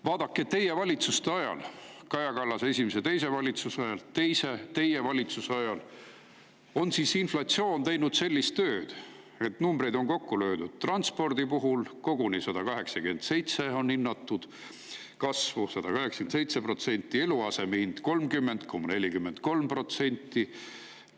Vaadake, teie valitsuste ajal ehk Kaja Kallase esimese ja teise valitsuse ajal ning teie valitsuse ajal on inflatsioon teinud sellist tööd – numbrid on kokku löödud –, et transpordi puhul on kasvu hinnatud koguni 187%‑le, 187%!, eluaseme hinnal on see 30,43%.